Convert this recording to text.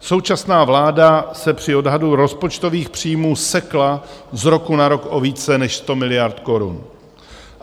Současná vláda se při odhadu rozpočtových příjmů sekla z roku na rok o více než 100 miliard korun.